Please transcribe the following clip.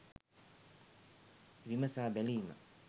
විමසා බැලීම